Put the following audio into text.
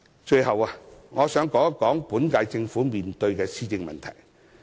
最後，我想談一談本屆政府面對的施政問題。